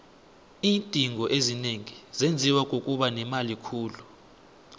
iindingo ezinengi zenziwa kukuba nemali khulu